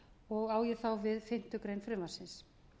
og á ég þá við fimmtu grein frumvarpsins